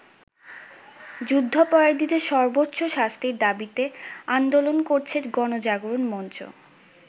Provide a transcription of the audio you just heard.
যুদ্ধাপরাধীদের সর্বোচ্চ শাস্তির দাবিতে আন্দোলন করছে গণজাগরণ মঞ্চ।